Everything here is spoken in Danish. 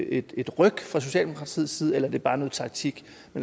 et et ryk fra socialdemokratiets side eller er det bare noget taktik